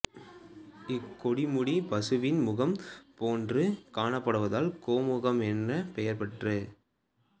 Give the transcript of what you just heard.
இக்கொடுமுடி பசுவின் முகம் போன்று காணப்படுவதால் கோமுகம் என்று பெயராயிற்று